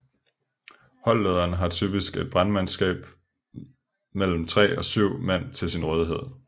Holdlederen har typisk et brandmandskab mellem tre og syv mand til sin rådighed